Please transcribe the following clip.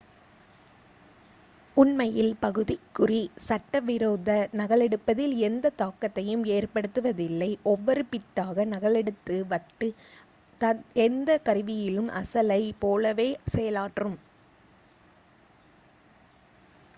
உண்மையில் பகுதிக் குறி சட்ட விரோத நகலெடுப்பதில் எந்த தாக்கத்தையும் ஏற்படுத்துவதில்லை ஒவ்வொரு பிட்டாக நகலெடுத்த வட்டு எந்த கருவியிலும் அசலைப் போலவே செயலாற்றும்